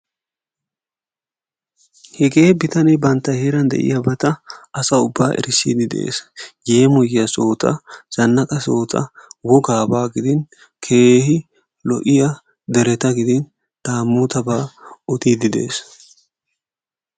Hegee bitanee bantta heeran de"iyabata asa ubbaa erissiiddi de"es. Yeemoyiya sohota, zannaqa sohota wogaabaa gidin keehi lo"iya dereta gidin daamootabaa odiiddi de"es.